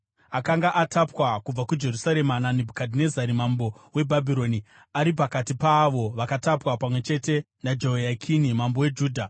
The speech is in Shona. akanga atapwa kubva kuJerusarema naNebhukadhinezari mambo weBhabhironi, ari pakati paavo vakatapwa pamwe chete naJehoyakini mambo weJudha.